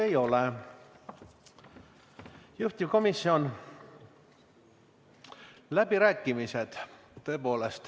Teile küsimusi ei ole.